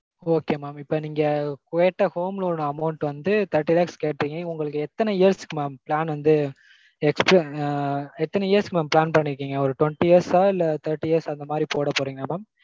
okay mam. இப்போ நீங்க கேட்ட home loan amount வந்து thirty lakhs கேட்டீங்க. உங்களுக்கு எத்தன years க்கு mam plan வந்து எத்தன years க்கு mam plan பண்ணிருக்கீங்க? ஒரு twenty years ஆ? இல்ல thirty years அந்த மாதிரி போட போறீங்களா mam?